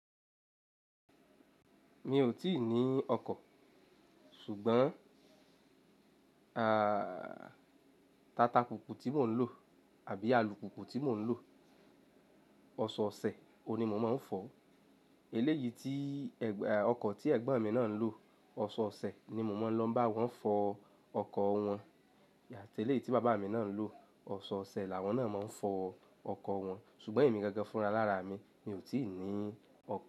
Mi ò tíì ní ọkọ̀, ṣùgbọ́n, tata kùkùù tí mò ń lò àbí alùpùpù tí mò ń lò, ọ̀ṣe ọ̀sẹ̀ òun ní mo máa ń fọ̀. Eléyìí tí, ọkọ̀ tí Ẹ̀gbọ́n mi náà ń lò, ọ̀ṣe ọ̀sẹ̀ ni mo máa ń lọ bá wọn fọ ọkọ̀ wọn. Àti eléyìí tí bàbá mi náà ń lò, ọ̀ṣọ́ọ̀sẹ̀ làwọn náà máa ń fọ ọkọ̀ wọn. Ṣùgbọ́n èmi gangan fún ara lára mi, mi ò tíì ní ọkọ̀